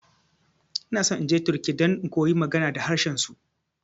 Inaso inje turkiya don in koyi magana da harshen su.